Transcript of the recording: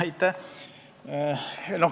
Aitäh!